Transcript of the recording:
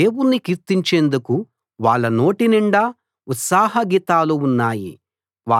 దేవుణ్ణి కీర్తించేందుకు వాళ్ళ నోటినిండా ఉత్సాహ గీతాలు ఉన్నాయి